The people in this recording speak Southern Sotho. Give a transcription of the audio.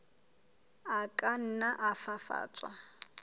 a ka nna a fafatswa